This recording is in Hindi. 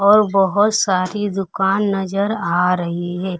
और बहोत सारी दुकान नजर आ रही है।